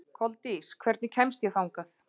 Koldís, hvernig kemst ég þangað?